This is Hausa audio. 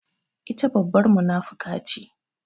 Ita babbar munafuka ce.